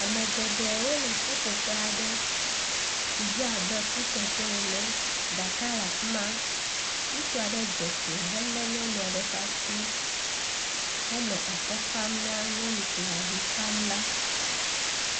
Ame geɖe wole ƒuƒoƒe aɖe si dze abe kuteƒe ene. Aɖaka le afi ma. Ŋutsu aɖe dze klo helé nyɔnu aɖe ƒe asi henɔ akɔfam ne nyɔnu si le avi fam la.